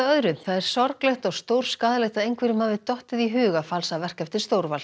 það er sorglegt og stórskaðlegt að einhverjum hafi dottið í hug að falsa verk eftir